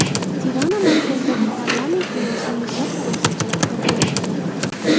Tirana markazidagi parlament binosini yuzlab politsiyachilar qo‘riqlamoqda.